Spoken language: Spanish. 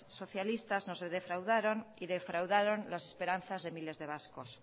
socialistas nos defraudaron y defraudaron las esperanzas de miles de vascos